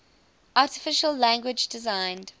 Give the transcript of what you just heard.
artificial language designed